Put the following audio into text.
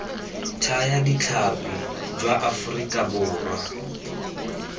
thaya ditlhapi jwa aforika borwa